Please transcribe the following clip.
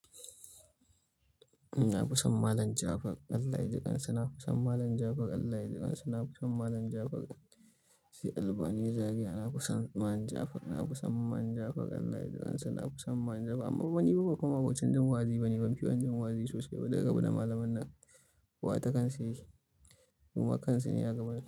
Na fison Malam Jafar Allah ya jiƙansa. Na fison Malam Jafar Allah ya jiƙansa. Na fison Malam Jafar sai albani zaria. Na fison Malam Jafar. Na fison Malam Jafar Allah ya jiƙansa. Na fison Malam Jafar amma kuma fani ba fa ma'abocin jin wa'azi bane. Ban fiye jin wa'azi sosai ba duk ra bu da malaman nan. Kowa takan sa yake kowa kansa ne a gaban sa.